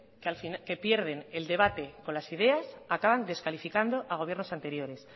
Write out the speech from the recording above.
que pierden el debate con las ideas acaban descalificando a gobiernos anteriores